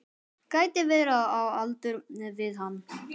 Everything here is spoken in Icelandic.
Gæti verið á aldur við hann.